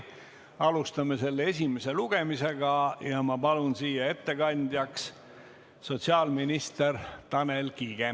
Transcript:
Alustame selle esimest lugemist ja ma palun siia ettekandjaks sotsiaalminister Tanel Kiige.